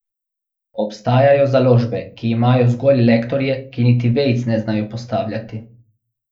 Obstajajo založbe, ki imajo zgolj lektorje, ki niti vejic ne znajo postavljati.